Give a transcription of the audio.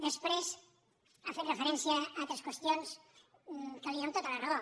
després ha fet referència a altres qüestions en què li dono tota la raó